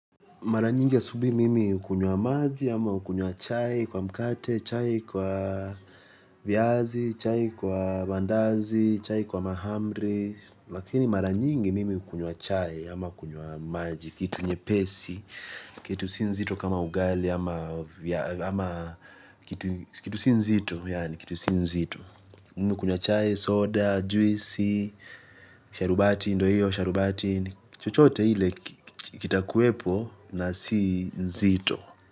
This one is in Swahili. Maranyingi asubui mimi hukunywa maji ama hukunywa chai kwa mkate, chai kwa viazi, chai kwa mandazi, chai kwa mahamri. Lakini mara nyingi mimi hukunywa chai ama kunywa maji, kitu nyepesi, kitu si nzito kama ugali ama kitu si nzito. Kitu si nzito mi hukunywa chai, soda, juisi sharubati ndo hiyo sharubati chochote hile kita kuepo na si nzito.